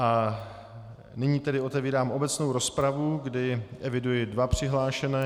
A nyní tedy otevírám obecnou rozpravu, kdy eviduji dva přihlášené.